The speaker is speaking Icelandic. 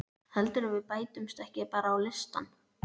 Heldurðu að við bætumst ekki bara á listann?